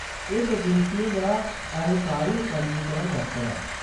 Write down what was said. एह्‌‌ बदेशियें दा अलाकाई पंजीकरण दफ्तर ऐ।